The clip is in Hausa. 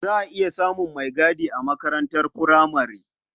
Za a iya samun maigadi a makarantar furamare.